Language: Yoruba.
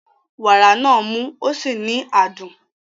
Wàrà náà mú ó sì ní adùn.